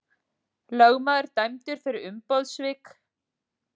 Lögmaður dæmdur fyrir umboðssvik